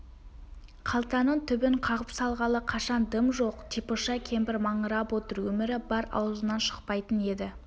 қалтаның түбін қағып салғалы қашан дым жоқ типыша кемпір маңырап отыр өмірі бар аузынан шықпайтын еді